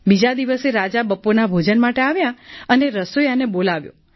બીજા દિવસે રાજા બપોરના ભોજન માટે આવ્યા અને રસોઈયાને બોલાવ્યો